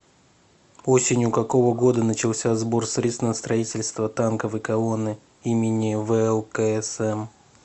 осенью какого года начался сбор средств на строительство танковой колонны имени влксм